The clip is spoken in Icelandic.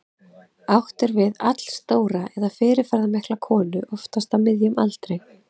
Átt er við allstóra eða fyrirferðarmikla konu, oftast á miðjum aldri.